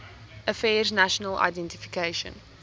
affairs national identification